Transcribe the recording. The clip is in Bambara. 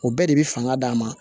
O bɛɛ de bi fanga d'an ma